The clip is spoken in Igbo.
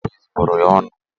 Nne Jabez bụrụ ya ọnụ